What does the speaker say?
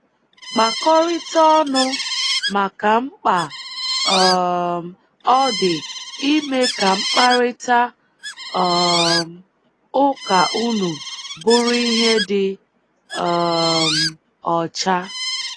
Kpakọrịta ọnụ maka mkpa um ọ dị ime ka mkparịta um ụka unu bụrụ ihe dị um ọcha.